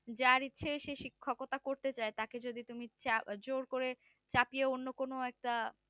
যার ইচ্ছে সে শিক্ষকতা করতে চাই তাকে যদি তুমি চা~জোর করে চাপিয়ে অন্য কোনো একটা